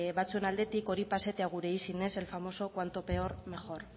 batzuen aldetik hori pasetea gure izenez el famoso cuanto peor mejor